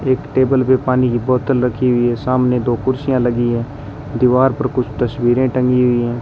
एक टेबल पे पानी की बोतल रखी हुई है सामने दो कुर्सियां लगी है दीवार पर कुछ तस्वीरें टंगी हुई है।